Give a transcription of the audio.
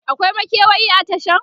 akwai makewayi a Tashan?